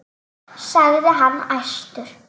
sagði hann æstur.